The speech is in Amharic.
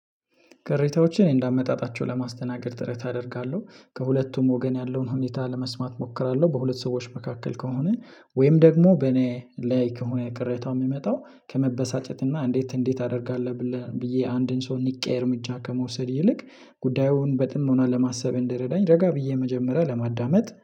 ቅሬታዎችን እንደ አመጣጣቸው ለማስተናገድ ጥረት አደርጋለሁ ከሁለቱም ወገን ያለውን ሁኔታ ለመስማት እሞክራለሁ በሁለት ሰዎች መካከል ከሆነ ወይም ደግሞ በኔ ላይ ከሆነ ቅሬታው የሚመጣው ከመበሳጨት እና እንዴት እንዴት አደርጋለሁ ብዬ አንድን ሰው ንቄ እርምጃ ከመውሰድ ይልቅ ጉዳዩን በጥሞና ለማሰብ እንደረዳኝ ረጋ ብዬ መጀመሪያ ለማዳመጥ